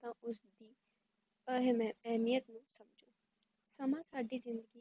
ਤਾਂਹੀ ਮੈ ਏਨਿਆ ਸਮਾਂ ਸਾਡੀ ਜ਼ਿੰਦਗੀ